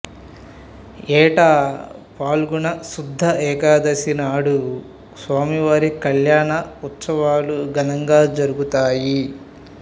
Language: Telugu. ఏటా ఫాల్గుణ శుద్ధ ఏకాదశి నాడు స్వామివారి కల్యాణ ఉత్సవాలు ఘనంగా జరుగుతాయి